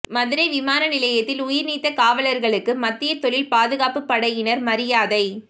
மதுரை விமான நிலையத்தில் உயிர்நீத்த காவலர்களுக்கு மத்திய தொழில் பாதுகாப்புப் படையினர் மரியாதை